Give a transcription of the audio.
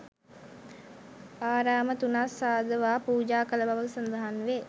ආරාම තුනක් සාදවා පූජා කළ බව සඳහන් වේ.